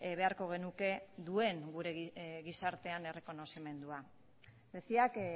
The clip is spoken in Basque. beharko genuke duen gure gizartean errekonozimendua decía que